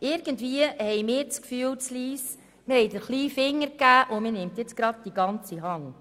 Irgendwie entsteht bei uns in Lyss das Gefühl, wir hätten den kleinen Finger gegeben, und nun wolle man die ganze Hand.